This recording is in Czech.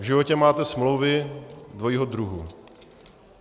V životě máme smlouvy dvojího druhu.